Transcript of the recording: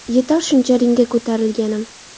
Yetar shuncha ringga ko‘tarilganim.